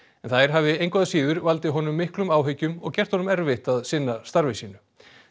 en þær hafi engu að síður valdið honum miklum áhyggjum og gert honum erfitt að sinna starfi sínu